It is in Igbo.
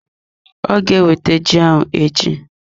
Ọ ga ewete ji ahụ echi.